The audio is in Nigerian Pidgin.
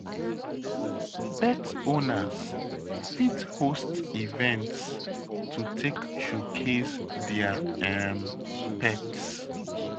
Pet owners fit host event to take showcase their um pet